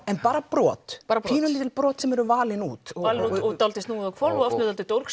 en bara brot pínulítil brot sem eru valin út valin út dálítið snúið á hvolf með